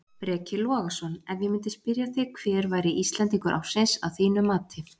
Breki Logason: Ef ég myndi spyrja þig hver væri Íslendingur ársins að þínu mati?